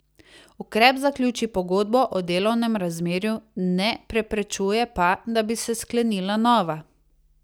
Ukrep zaključi pogodbo o delovnem razmerju, ne preprečuje pa, da bi se sklenila nova.